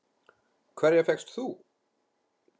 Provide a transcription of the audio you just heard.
Hverja fékkst þú?